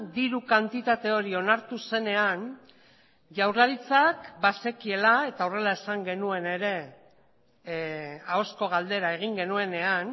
diru kantitate hori onartu zenean jaurlaritzak bazekiela eta horrela esan genuen ere ahozko galdera egin genuenean